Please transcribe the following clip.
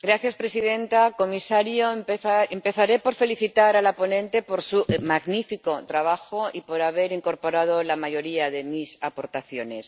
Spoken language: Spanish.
Señora presidenta, comisario, empezaré por felicitar a la ponente por su magnífico trabajo y por haber incorporado la mayoría de mis aportaciones.